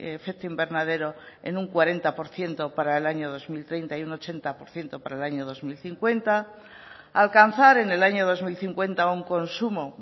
efecto invernadero en un cuarenta por ciento para el año dos mil treinta y un ochenta por ciento para el año dos mil cincuenta alcanzar en el año dos mil cincuenta un consumo